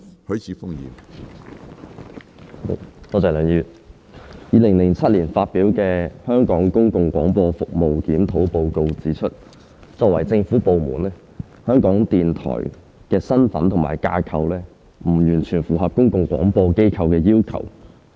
梁議員 ，2007 年發表的《香港公共廣播服務檢討報告》指出，作為政府部門，香港電台的身份及架構不完全符合公共廣播機構的要求。